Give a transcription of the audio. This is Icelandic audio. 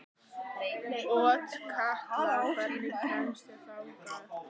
Otkatla, hvernig kemst ég þangað?